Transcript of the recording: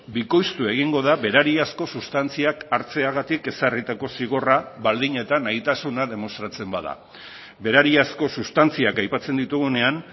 bikoiztu egingo da berariazko sustantziak hartzeagatik ezarritako zigorra baldin eta nahitasuna demostratzen bada berariazko sustantziak aipatzen ditugunean